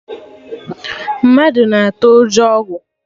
Mma na-atụ ụjọ ogwu